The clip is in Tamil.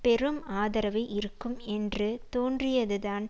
பெரும் ஆதரவு இருக்கும் என்று தோன்றியது தான்